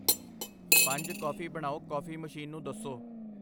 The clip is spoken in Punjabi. ਪੰਜ ਕੌਫੀ ਬਣਾਓ ਕੌਫੀ ਮਸ਼ੀਨ ਨੂੰ ਦੱਸੋ